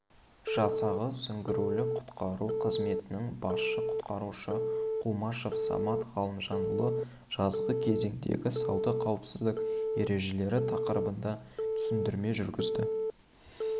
жасағы сүңгуірлік-құтқару қызметінің басшысы-құтқарушы құмашев самат ғалымжанұлы жазғы кезеңдегі судағы қауіпсіздік ережелері тақырыбында түсіндірме жүргізді